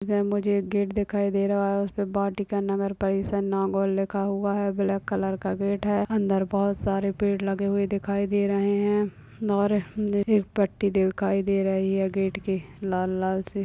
यह मुझे गेट दिखाई दे रहा है उसपे वाटिका नगर परिषद नागौर लिखा हुआ है ब्लैक कलर का गेट है अंदर बहुत सारे पेड़ लगे हुए दिखाई दे रहे है और दिखाई दे रही है गेट पर लाल लाल सी --